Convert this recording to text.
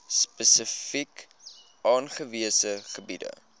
spesifiek aangewese gebiede